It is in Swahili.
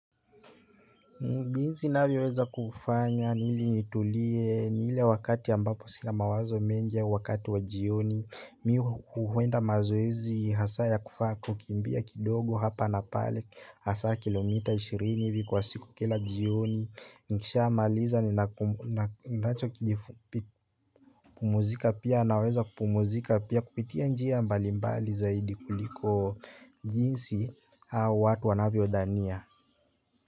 Jinsi navyoweza kufanya ili nitulie ile wakati ambapo sina mawazo mengi au wakati wa jioni mi huenda mazoezi hasa ya kufaa kukimbia kidogo hapa na pale hasaa kilomita ishirini hivi kwa siku kila jioni nikisha maliza ninaku nina ninachokijifupi pumzika pia naweza kupumzika pia kupitia njia mbali mbali zaidi kuliko jinsi hao watu wanavyodhania.